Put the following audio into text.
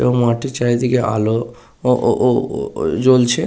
এবং মাঠটির চারিদিকে আলো ও ও ও জ্বলছে।